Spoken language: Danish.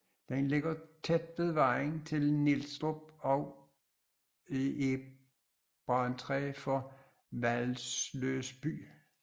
Den ligger tæt ved vejen til Nielstrup og er brandtræ for Hvalløs by